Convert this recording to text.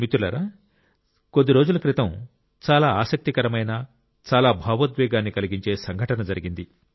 మిత్రులారా కొద్ది రోజుల క్రితం చాలా ఆసక్తికరమైన చాలా భావోద్వేగాన్ని కలిగించే సంఘటన జరిగింది